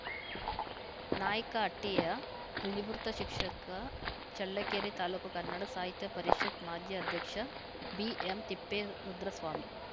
ನಾಯಕ ಹಟ್ಟಿಯ ನಿವೃತ್ತ ಶಿಕ್ಷಕ ಚಳ್ಳಕೆರೆ ತಾಲೂಕು ಕನ್ನಡ ಸಾಹಿತ್ಯ ಪರಿಷತ್‌ ಮಾಜಿ ಅಧ್ಯಕ್ಷ ಬಿಎಂತಿಪ್ಪೇರುದ್ರಸ್ವಾಮಿ